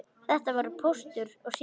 Þetta voru Póstur og Sími.